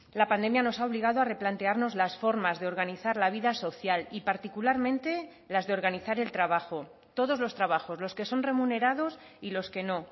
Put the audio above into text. la pandemia nos ha obligado a replantearnos las formas de organizar la vida social y particularmente las de organizar el trabajo todos los trabajos los que son remunerados y los que no